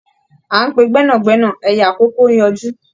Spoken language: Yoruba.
À ń pe gbẹ́nàgbẹ́nà ẹyẹ àkókó ń yọjú.